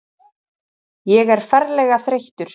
Ég er ferlega þreyttur.